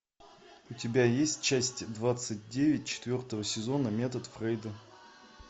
у тебя есть часть двадцать девять четвертого сезона метод фрейда